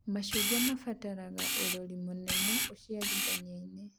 Mĩcungwa batara ũrori mũnene ũciarithania-inĩ